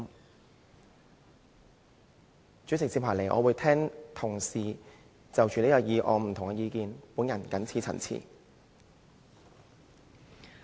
代理主席，接下來我會聆聽同事就這項議案發表的不同意見。